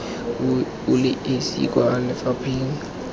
o le esi kwa lefapheng